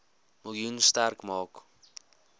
miljoen sterk maak